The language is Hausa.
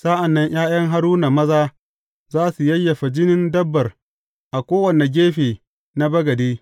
Sa’an nan ’ya’yan Haruna maza za su yayyafa jinin dabbar a kowane gefe na bagade.